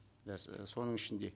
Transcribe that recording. иә соның ішінде